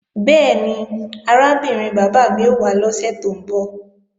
Bẹ́ẹ̀ni, arábìnrin bàbá mi ó wá lọ́sè tó ń bọ̀